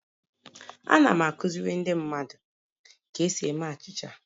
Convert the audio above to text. Ana m akụziri ndị mmadụ ka esi eme achịcha